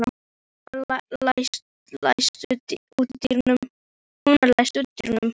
Húna, læstu útidyrunum.